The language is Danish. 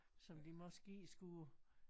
Som vi måske skulle